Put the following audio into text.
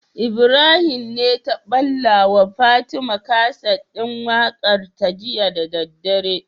Ibrahim ne ta balla wa fatima kaset din waƙar ta jiya da daddare